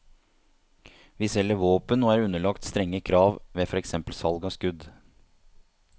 Vi selger våpen og er underlagt strenge krav ved for eksempel salg av skudd.